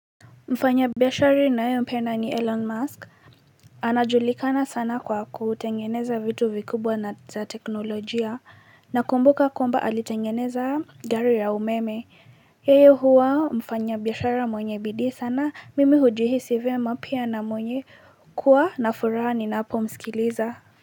Mfanya biashara ninayeh mpenda ni Elon Musk. Anajulikana sana kwa kutengeneza vitu vikubwa na za teknolojia na kumbuka kwamba alitengeneza gari ya umeme yeye huwa mfanya biashara mwenye bidii sana mimi hujihisi vyema pia na mwenye kuwa na furaha ninapo msikiliza.